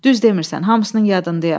Düz demirsən, hamısının yadındayam.